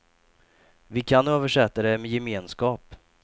Vi kan översätta det med gemenskap.